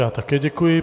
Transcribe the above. Já také děkuji.